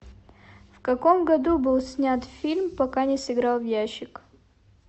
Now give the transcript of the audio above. в каком году был снят фильм пока не сыграл в ящик